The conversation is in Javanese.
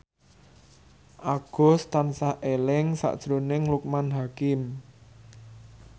Agus tansah eling sakjroning Loekman Hakim